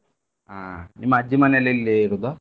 ಹಾ ನಿಮ್ಮ ಅಜ್ಜಿಮನೆಲ್ ಎಲ್ಲಿ ಇರುದು?